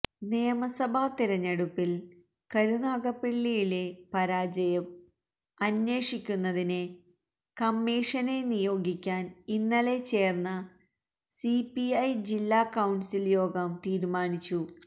നിയമസഭ തിരഞ്ഞെടുപ്പിൽ കരുനാഗപ്പള്ളിയിലെ പരാജയം അന്വേഷിക്കുന്നതിന് കമ്മിഷനെ നിയോഗിക്കാൻ ഇന്നലെ ചേർന്ന സിപിഐ ജില്ല കൌൺസിൽ യോഗം തീരുമാനിച്ചു